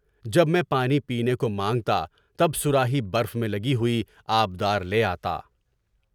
جب میں پانی پینے کو مانگتا، تب صراحی برف میں لگی ہوئی آب دار لے آتا۔